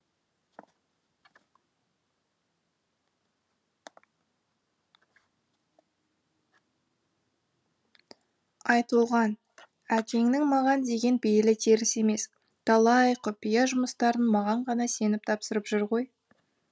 айтолған әкеңнің маған деген пейілі теріс емес талай құпия жұмыстарын маған ғана сеніп тапсырып жүр ғой